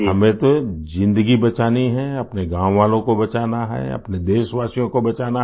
हमें तो ज़िन्दगी बचानी है अपने गाँव वालों को बचाना है अपने देशवासियों को बचाना है